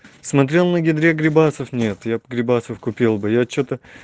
смотрел на гидре грибасов нет я бы грибасов купил бы я что-то